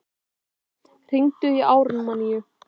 Ástvar, hringdu í Ármanníu.